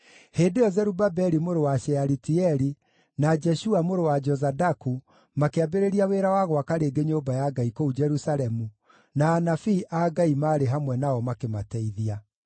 Hĩndĩ ĩyo Zerubabeli mũrũ wa Shealitieli, na Jeshua mũrũ wa Jozadaku makĩambĩrĩria wĩra wa gwaka rĩngĩ nyũmba ya Ngai kũu Jerusalemu, na anabii a Ngai maarĩ hamwe nao makĩmateithia.